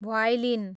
violin